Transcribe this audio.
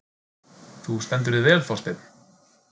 Þú stendur þig vel, Þorsteinn!